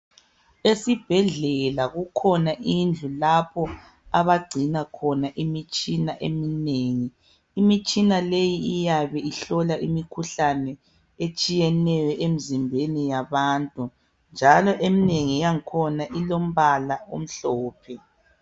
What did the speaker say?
Esibhedlela kukhona indlu lapho abagcina khona imitshina eminengi imitshina leyi iyabe ihlola imikhuhlane etshiyeneyo emzimbeni yabantu njalo eminengi yangikhona ilombala omhlophe